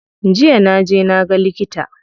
Jiya na je na ga likita.